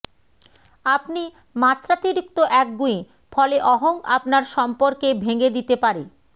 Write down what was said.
আপনি মাত্রাতিরিক্ত একগুঁয়ে ফলে অহং আপনার সম্পর্কে ভেঙে দিতে পারে